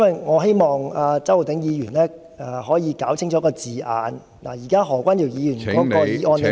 我希望周浩鼎議員可以澄清那個字眼，現在何君堯議員的議案內......